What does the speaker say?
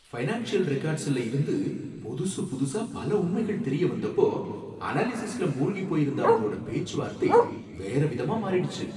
Financial ரெக்கார்ட்ஸ்ல இருந்து புதுசு புதுசா பல உண்மைகள் தெரிய வந்தப்போ, அனாலிசிஸ்ல மூழ்கிப் போயிருந்த அவங்களோட பேச்சுவார்த்தை வேற விதமா மாறிடுச்சு.